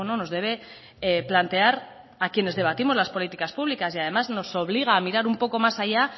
nos debe plantear a quienes debatimos las políticas públicas y además nos obliga a mirar un poco más allá